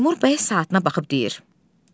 Teymur bəy saatına baxıb deyir: